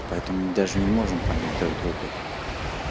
поэтому мы даже не можем понять друг друга